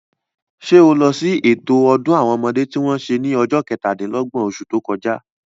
Sé o lọ sí ètò ọdún àwọn ọmọdé tí wọ́n se ní ọjọ́ kẹtà-dín-lọ́gbọ̀n, osù tó kọjá?